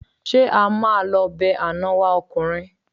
Ṣé a máa lọ be àná wa ọkùnrin?